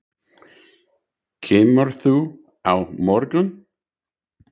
Kemurðu á morgun?